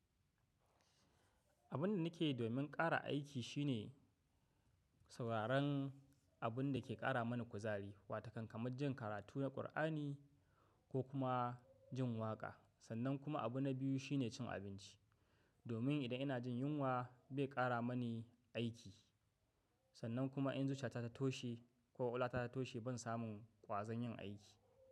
Abin da nake domin ƙara aiki shine sauraron abun da ke ƙara mana kuzari, wato kan kamar jin karatu na Kur'ani ko kuma jin waƙa. Sannan kuma abu na biyu shine cin abinci. Domin idan ina jin yunwa, bai ƙara mani aiki. Sannan kuma in zuciya ta ta toshe ko kwakwalwa ta ta ta toshe ban samu ƙwazon yin aiki ba.